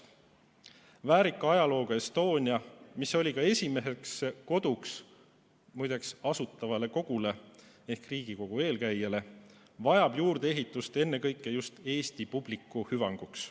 Väärika ajalooga Estonia, mis oli ka esimeseks koduks, muide, Asutavale Kogule ehk Riigikogu eelkäijale, vajab juurdeehitust ennekõike just Eesti publiku hüvanguks.